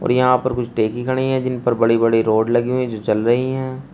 और यहां पर कुछ खड़ी हैं जिन पर बड़ी-बड़ी रोड लगी हुई जो चल रही हैं।